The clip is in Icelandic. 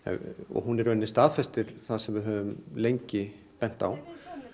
hún í raun staðfestir það sem við höfum lengi bent á